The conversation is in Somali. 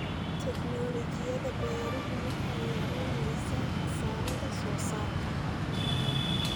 Tiknoolajiyada beeruhu waxay yaraynaysaa khasaaraha soosaarka.